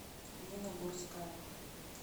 нина гурская